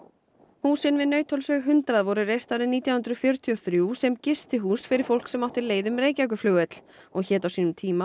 húsin við Nauthólsveg hundrað voru reist árið nítján hundruð fjörutíu og þrjú sem gistihús fyrir fólk sem átti leið um Reykjavíkurflugvöll og hét á sínum tíma